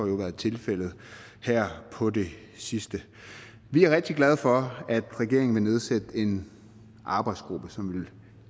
jo været tilfældet her på det sidste vi er rigtig glade for at regeringen vil nedsætte en arbejdsgruppe som vil